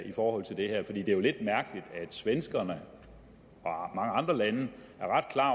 i forhold til det her for det er jo lidt mærkeligt at sverige og mange andre lande er ret klar